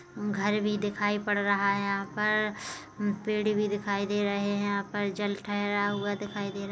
घर भी दिखाई पड़ रहा है यहाँ पर अम्म पेड़ भी दिखाई दे रहे यहाँ पर जल ठहरा हुआ दिखाई दे रहा --